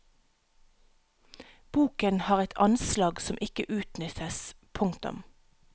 Boken har et anslag som ikke utnyttes. punktum